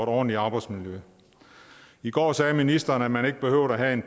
ordentligt arbejdsmiljø i går sagde ministeren at man ikke behøver at have en